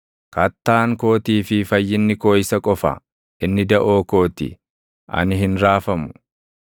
Kattaan kootii fi fayyinni koo isa qofa; inni daʼoo koo ti; ani hin raafamu.